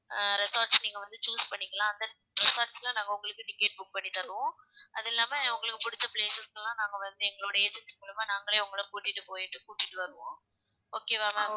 அஹ் resorts நீங்க வந்து choose பண்ணிக்கலாம் அந்த resorts ல நாங்க உங்களுக்கு ticket book பண்ணி தருவோம் அதில்லாம உங்களுக்கு புடிச்ச places க்குலாம் நாங்க வந்து எங்களுடைய agency மூலமா நாங்களே உங்கள கூட்டிட்டு போயிட்டு கூட்டிட்டு வருவோம் okay வா ma'am